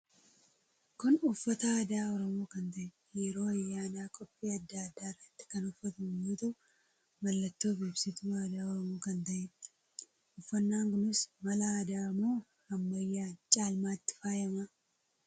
Kun uffannaa aadaa oromoo kan ta'ee yeroo ayyaana, qophii, adda adda irratti kan uffatamu yoo tahuu mallattoo fi ibsituu aadaa oromoo kan taheedha. Uffannaan kunis mala aadaa moo ammayyan caalmatti faayama?